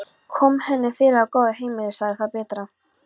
Kom henni fyrir á góðu heimili, sagði það betra.